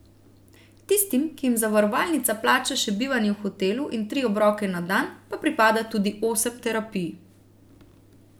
Tistim, ki jim zavarovalnica plača še bivanje v hotelu in tri obroke na dan, pa pripada tudi osem terapij.